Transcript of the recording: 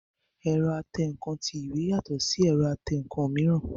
Ẹ̀rọ atẹǹkan ti ìwé yàtọ̀ sí ti ẹ̀rọ atẹǹkan mìíràn